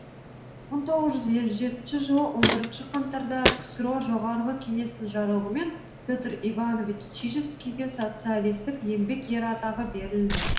мың тоғыз жүз елу жетінші жылы он бірінші қаңтарда ксро жоғарғы кеңесінің жарлығымен петр иванович чижевскийге социалистік еңбек ері атағы берілді